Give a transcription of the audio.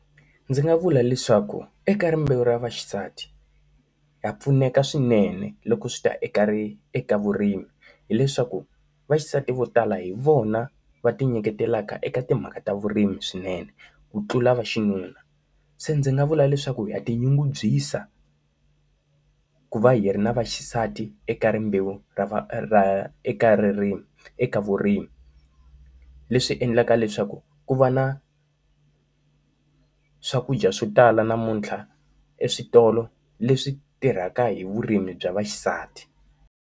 Ndzi nga vula leswaku eka rimbewu ra vaxisati, ha pfuneka swinene loko swi ta eka ri eka vurimi hileswaku vaxisati vo tala hi vona va tinyiketelaka eka timhaka ta vurimi swinene, ku tlula va xinuna. Se ndzi nga vula leswaku ha ti nyungubyisa ku va hi ri na vaxisati eka rimbewu ra va ra ra eka ririmi eka vurimi. Leswi endlaka leswaku ku va na swakudya swo tala namuntlha eswitolo leswi tirhaka hi vurimi bya vaxisati.